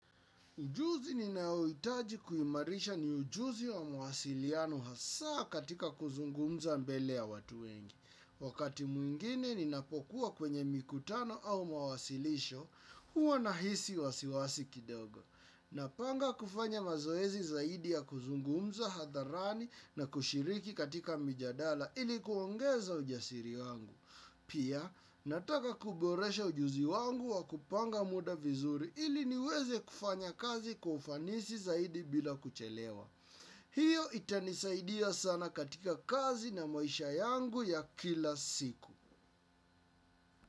Ujuzi ninaoitaji kuimarisha ni ujuzi wa muwasiliano hasa katika kuzungumza mbele ya watu wengi. Wakati mwingine ninapokuwa kwenye mikutano au mawasilisho, huwa nahisi wasiwasi kidogo. Napanga kufanya mazoezi zaidi ya kuzungumza hadharani na kushiriki katika mijadala ilikuongeza ujasiri wangu. Pia, nataka kuboresha ujuzi wangu wa kupanga muda vizuri ili niweze kufanya kazi kwa ufanisi zaidi bila kuchelewa. Hiyo itanisaidia sana katika kazi na maisha yangu ya kila siku.